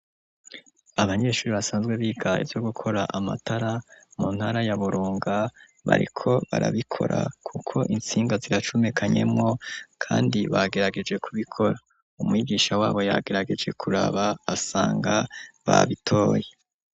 Abanyeshuri basanzwe biga ivyo gukora amatara mu ntara ya Burunga, bariko barabikora kuko intsinga ziracumekanyemo kandi bagerageje kubikora, umwigisha wabo yagerageje kuraba asanga babitoye